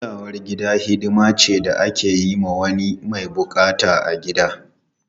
Kulawar gida hidima ce da ake yi wa wani mai bukata a gida.